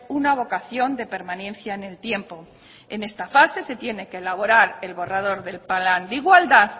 una vocación de permanencia en el tiempo en esta fase se tiene que elaborar el borrador del plan de igualdad